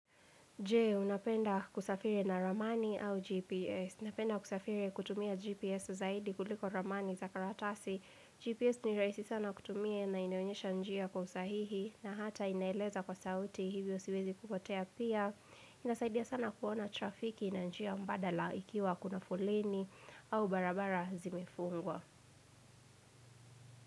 Jee, unapenda kusafiri na ramani au GPS. Unapenda kusafiri kutumia GPS zaidi kuliko ramani za karatasi. GPS niraisi sana kutumia na inaonyesha njia kwa usahihi na hata inaeleza kwa sauti hivyo siwezi kupotea pia. Inasaidia sana kuona trafiki na njia mbadala ikiwa kuna foleni au barabara zimefungwa.